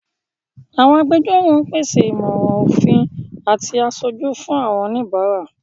Àwọn agbẹjọ́rò ń pèsè ìmọ̀ràn òfin àti aṣojú fún àwọn oníbàárà.